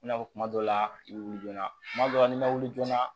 I n'a fɔ kuma dɔw la i bɛ wuli joona kuma dɔw la n'i ma wuli joona